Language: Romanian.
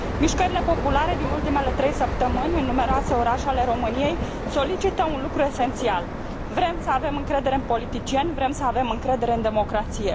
Mișcările populare din ultimele trei săptămâni în numeroase orașe ale României solicită un lucru esențial vrem să avem încredere în politicieni, vrem să avem încredere în democrație.